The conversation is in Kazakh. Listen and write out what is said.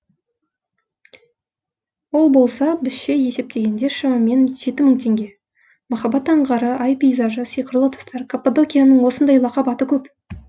ол болса бізше есептегенде шамамен жеті мың теңге махаббат аңғары ай пейзажы сиқырлы тастар каппадокияның осындай лақап аты көп